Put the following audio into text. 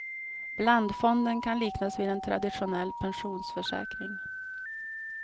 Blandfonden kan liknas vid en traditionell pensionsförsäkring.